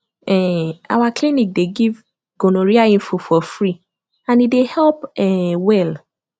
um our clinic dey give gonorrhea info for free and e dey help um well